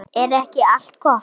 Ég skil þetta ekki!